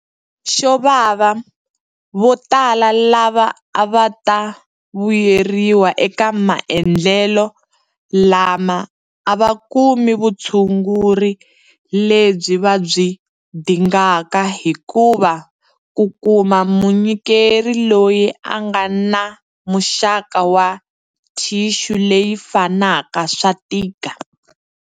Xo vava, votala lava a va ta vuyeriwa eka maendlelo lama a va kumi vutshunguri lebyi va byi dingaka hikuva ku kuma munyikeri loyi a nga na muxaka wa thixu leyi fanaka swa tika.